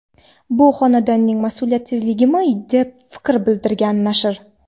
Bu xonandaning mas’uliyatsizligimi, deb fikr bildirgan nashr.